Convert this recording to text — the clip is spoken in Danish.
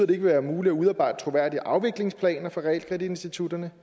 vil være muligt at udarbejde troværdige afviklingsplaner for realkreditinstitutterne